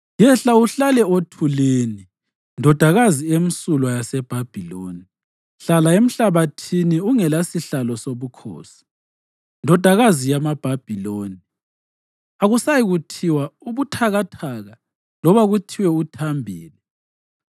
“Yehla uhlale othulini Ndodakazi emsulwa yaseBhabhiloni, hlala emhlabathini ungelasihlalo sobukhosi, ndodakazi yamaBhabhiloni. Akusayikuthiwa ubuthakathaka loba kuthiwe uthambile.